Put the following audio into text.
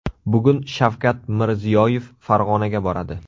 Bugun Shavkat Mirziyoyev Farg‘onaga boradi.